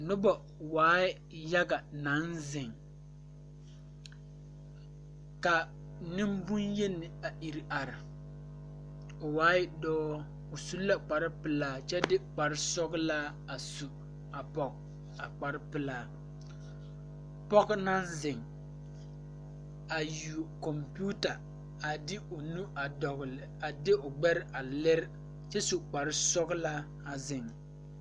Noba waa yaga naŋ ziŋ ka niŋbonyeni are o waaɛ dɔɔ o su la kpare pilaa kyɛ de kpare sɔglaa a su pɔge a kpare pilaa pɔge naŋ ziŋ a yuo kompeuta a de o nu a dɔgle a de o gbɛre a lere kyɛ su kpare sɔglaa a ziŋ.